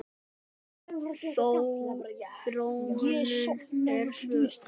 Þróunin er svo ör.